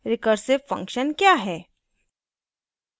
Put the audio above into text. recursive function क्या है